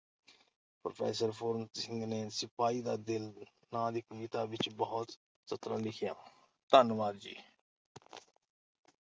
Professor Puran Singh ਨੇ ਸਿਪਾਹੀ ਦਾ ਦਿਲ ਨਾਂ ਦੀ ਕਵਿਤਾ ਵਿੱਚ ਬਹੁਤ ਸੁੰਦਰ ਸਤਰਾਂ ਲਿਖੀਆਂ ਹਨ- ਧੰਨਵਾਦ ਜੀ।